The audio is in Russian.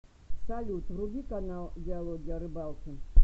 салют вруби канал диалоги о рыбалке